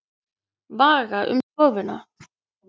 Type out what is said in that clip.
Vaga um stofuna.